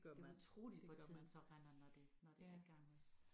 Det utroligt hvor tiden så render når det når det er i gang